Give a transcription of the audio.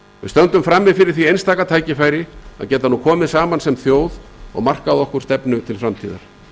stöndum frammi fyrir því einstaka tækifæri að geta nú komið saman sem þjóð og markað okkur stefnu til framtíðar